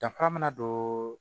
Danfara mina don